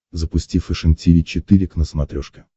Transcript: запусти фэшен тиви четыре к на смотрешке